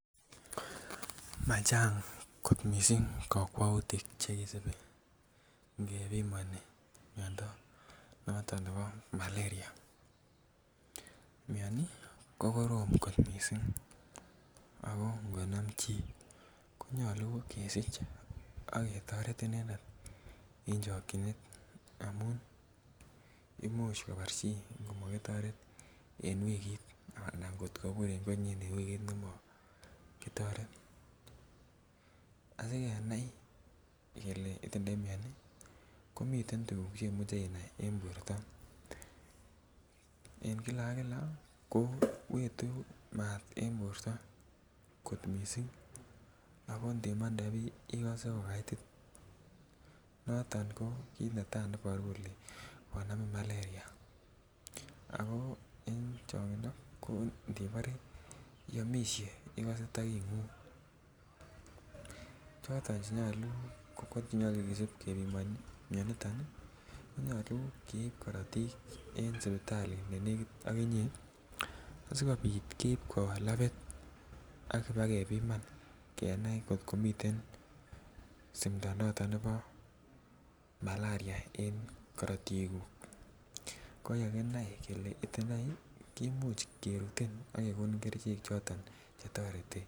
Machang' kot mising' kokwoutik Che kisubi olon kibimoni miondo nebo malaria mioni ko korom kot mising' ako ngonam chi konyolu kesich ak ketoret inendet en chokyinet amun Imuch kobar chii angot komakitoret en wikit anan ngot kobur en konyin en wikit komoo ki toret asikenai kele itindoi mioni ko miten tuguk Che imuche inai en borto en kila ak kila kila ko etu maat en borto kot mising ak inimande Bii ikose ko kait noton koiboru kele konamin malaria ago changindo inibore iamisiei ikose takingung tuguk Che nyolu keyai ko kisib kebiman mianito nyolu keib korotik en sipatalit ne nekit ak inye asikobit keib koba labit kebiman asi kenai angot komiten simto nebo malaria en korotiguk kimuch kerutin ak kegonin kerichek choton Che toreti.